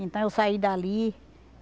Então eu saí dali.